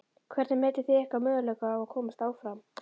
Hvernig metið þið ykkar möguleika á að komast áfram?